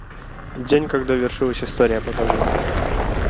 день когда вершилась история покажи